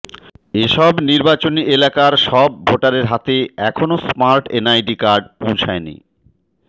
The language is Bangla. এসব নির্বাচনি এলাকার সব ভোটারের হাতে এখনও স্মার্ট এনআইডি কার্ড পৌঁছায়নি